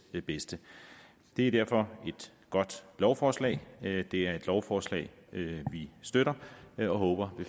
bedste det er derfor et godt lovforslag det er et lovforslag vi støtter og håber